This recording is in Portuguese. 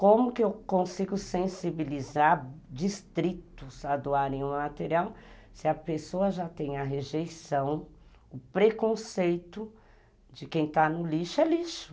Como que eu consigo sensibilizar distritos a doarem o material se a pessoa já tem a rejeição, o preconceito de quem está no lixo é lixo.